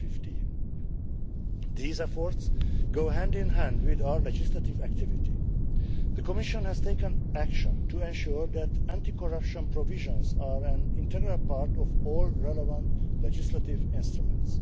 2015. These efforts go hand in hand with our legislative activity. The Commission has taken action to ensure that anti corruption provisions are an integral part of all relevant legislative instruments.